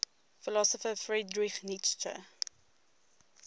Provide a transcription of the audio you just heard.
philosopher friedrich nietzsche